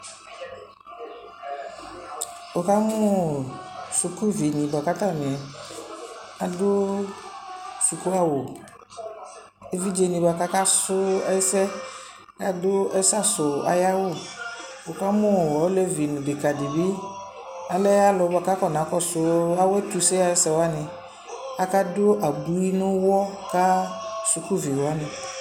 Wʋ ka mʋ sukuvinɩ bʋa k'atanɩ adʋ suku awʋ Evidzenɩ bʋa k'aka sʋ ɛsɛ, adʋ ɛsɛ asʋ ay'awʋ Wʋ ka mʋ olevi nʋ dekadɩ bɩ, alɛ alʋ yɛ bʋa k'akɔna kɔdʋ awʋ ɛtʋse sy'ɛsɛwanɩ, aka dʋ abui n'ʋwɔ kʋ dukuviwanɩ